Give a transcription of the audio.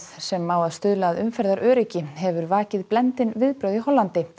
sem á að stuðla að umferðaröryggi hefur vakið blendin viðbrögð í Hollandi